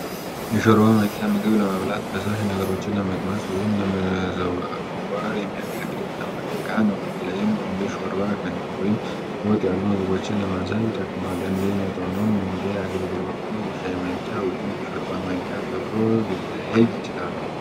የሾርባ ማንኪያ ምግብ ለመብላት፣ ፈሳሽ ነገሮችን ለመቅመስ ወይም ለመዘወር የሚያገለግል የተለመደ ዕቃ ነው። በተለይም እንደ ሾርባ፣ ገንፎ ወይም ወጥ ያሉ ምግቦችን ለማንሳት ይጠቅማል። እንደ መጠኑና እንደ አገልግሎቱ "የሻይ ማንኪያ" ወይም "የሾርባ ማንኪያ" ተብሎ ሊለያይ ይችላል።